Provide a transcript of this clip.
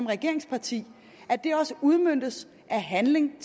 regeringsparti at det også udmønter sig i handling